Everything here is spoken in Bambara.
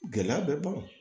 Gɛlɛya bɛ ban